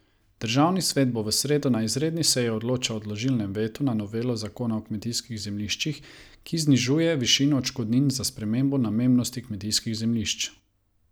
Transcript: Državni svet bo v sredo na izredni seji odločal o odložilnem vetu na novelo zakona o kmetijskih zemljiščih, ki znižuje višino odškodnin za spremembo namembnosti kmetijskih zemljišč.